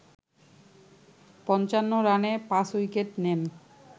৫৫ রানে ৫ উইকেট নেন